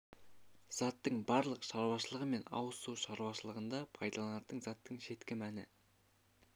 заттың барлық шаруашылығы мен ауыз су шаруашылығында пайдаланылатын заттың шеткі мәні